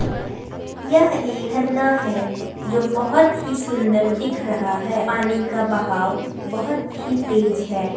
यह एक झरना है जो बहोत ही सूंदर दिख रहा है पानी का बहाव बहोत ही तेज है।